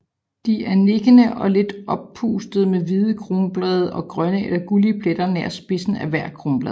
De er nikkende og lidt oppustede med hvide kronblade og grønne eller gullige pletter nær spidsen af hvert kronblad